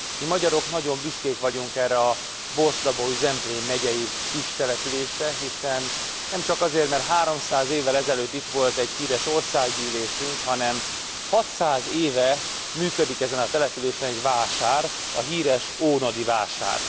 Mi magyarok nagyon büszkék vagyunk erre a Borsod Abaúj Zemplén megyei kis településre, nemcsak azért mert 300 évvel ezelőtt itt volt egy híres országgyűlésünk, hanem 600 éve működik ezen a településen egy vásár, a híres ónodi vásár.